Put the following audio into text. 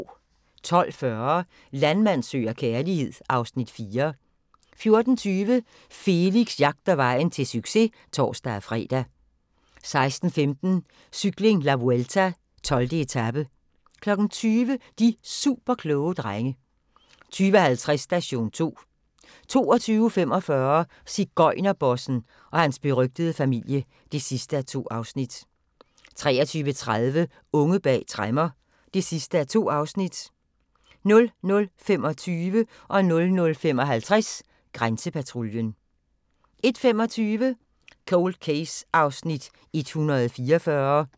12:40: Landmand søger kærlighed (Afs. 4) 14:20: Felix jagter vejen til succes (tor-fre) 16:15: Cykling: La Vuelta - 12. etape 20:00: De superkloge drenge 20:50: Station 2 22:45: Sigøjnerbossen – og hans berygtede familie (2:2) 23:30: Unge bag tremmer (2:2) 00:25: Grænsepatruljen 00:55: Grænsepatruljen 01:25: Cold Case (144:156)